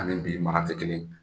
Ani bi mara tɛ kelen